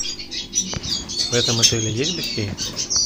в этом отеле есть бассейн